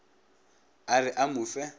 a re a mo fe